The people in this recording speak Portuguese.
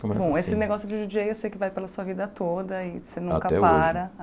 Começa assim Bom, esse negócio de Di dJei, eu sei que vai pela sua vida toda e você nunca para. Até hoje